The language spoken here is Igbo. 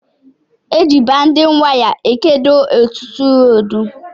Eji baindịn waya ekedo ọtụtụ rọdu